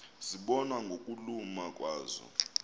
zibonwa ngokuluma kwazo